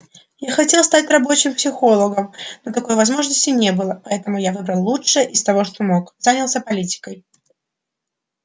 я хотел стать рабочим психологом но такой возможности не было поэтому я выбрал лучшее из того что мог занялся политикой